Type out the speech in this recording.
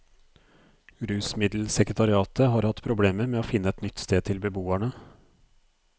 Rusmiddelsekretariatet har hatt problemer med å finne et nytt sted til beboerne.